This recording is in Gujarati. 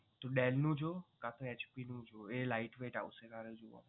તો dell નું જો કા તો HP નું જો એ light weight આવશે